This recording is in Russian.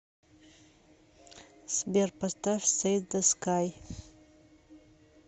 сбер поставь сейд зе скай